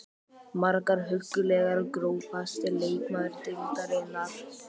Margar huggulegar Grófasti leikmaður deildarinnar?